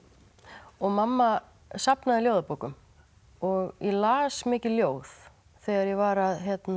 og mamma safnaði ljóðabókum og ég las mikið ljóð þegar ég var að